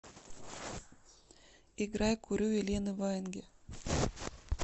играй курю елены ваенги